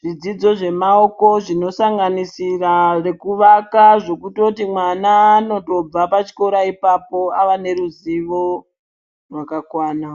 zvidzidzo zvemaoko zvinosanganisira rekuvaka zvekutoti mwana anotobva pachikora ipapo ava neruzivo rwakakwana.